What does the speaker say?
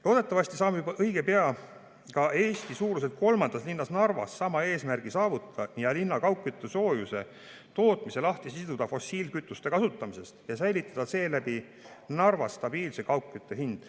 Loodetavasti saame juba õige pea ka Eesti suuruselt kolmandas linnas Narvas sama eesmärgi saavutada, siduda linna kaugküttesoojuse tootmise lahti fossiilkütuste kasutamisest ja säilitada seeläbi Narvas stabiilse kaugkütte hinna.